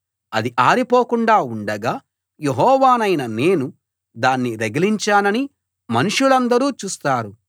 అది ఆరిపోకుండా ఉండగా యెహోవానైన నేను దాన్ని రగిలించానని మనుషులందరూ చూస్తారు